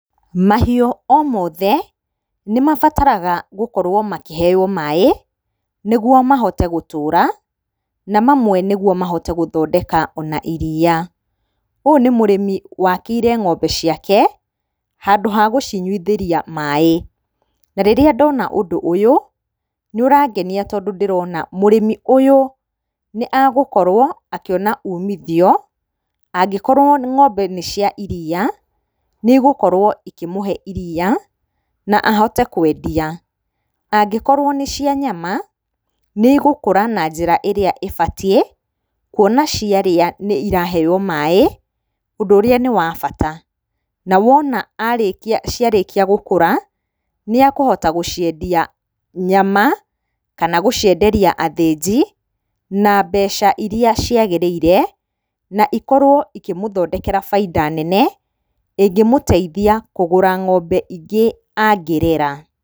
Mahiũ o mothe nĩmabataraga gũkorwo makĩheo maĩ nĩguo mahote gũtũra na mamwe nĩguo mahote gũthondeka ona iria. Ũyũ nĩ mũrĩmi wakĩire ng'ombe ciake handũ hakũcinywithĩria maĩ. Na rĩrĩa ndona ũndũ ũyũ nĩ ũrangenia tondũ ndĩrona mũrĩmi ũyũ nĩ agũkorwo akĩona umithio angĩkorwo ng'ombe nĩ cia iria nĩgũkorwo ikĩmũhe iria na ahote kwendia. Angĩkorwo nĩ cia nyama nĩigũkũra na njĩra ĩrĩa ĩbatiĩ kuona ciarĩa iraheo maĩ ũndũ ũrĩa nĩ wa bata na wona ciarĩkia gũkũra nĩakũhota gũciendia nyama kana gũciendia athĩnji na mbeca ĩrĩa ciagĩrĩire na ikorwo ikĩmũthondekera baita nene ĩngĩmũteithia kũgũra ng'ombe ingĩ angĩrera.